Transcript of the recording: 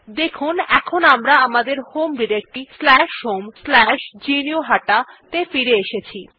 দেখুন এখন আমরা আমাদের হোম ডিরেক্টরী homegnuhata ত়ে ফিরে এসেছি